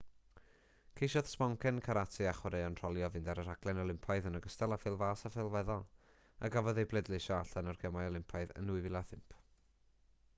ceisiodd sboncen carate a chwaraeon rholio fynd ar y rhaglen olympaidd yn ogystal â phêl-fas a phêl-feddal a gafodd eu pleidleisio allan o'r gemau olympaidd yn 2005